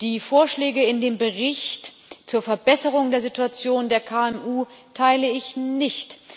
Die Vorschläge in dem Bericht zur Verbesserung der Situation der KMU teile ich nicht.